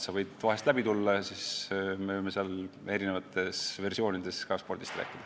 Sa võid vahel läbi tulla ja siis me võime seal erinevates variatsioonides ka spordist rääkida.